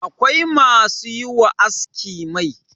akwai masu yi wa aski Mai